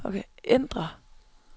ændr